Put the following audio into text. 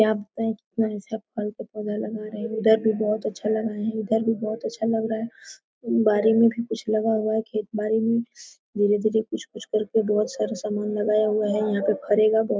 यहाँ पे सब फल का पौधा लगा रहे है उधर भी बहुत अच्छा लगाए है उधर भी अच्छा लग रहा है बाड़ी में भी कुछ लगा हुआ है खेत बाड़ी में धीरे- धीरे कुछ -कुछ करके बहुत सारा सामान लगाया हुआ है यहाँ पे भरेगा बहुत--